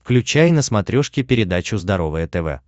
включай на смотрешке передачу здоровое тв